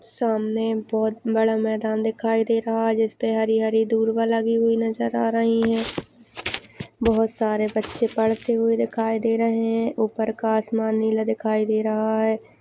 सामने बहुत बड़ा मैदान दिखाई दे रहा है। जिसपे हरी हरी धुरमा लगी हुई नज़र आ रही है। बहुत सारे बचे पढ़ते हुए दिखाई दे रहे है। उपर का आसमान नीला दिखाई दे रहा है।